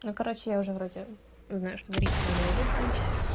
ну короче я уже вроде знаю что дарить ей на новый год значит